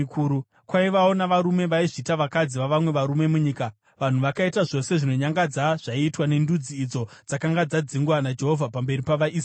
Kwaivawo navarume vaizviita vakadzi vavamwe varume munyika, vanhu vakaita zvose zvinonyangadza zvaiitwa nendudzi idzo dzakanga dzadzingwa naJehovha pamberi pavaIsraeri.